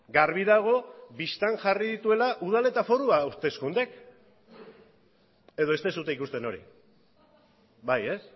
garbi dago bistan jarri dituela udal eta foru hauteskundeek edo ez duzue ikusten hori bai ez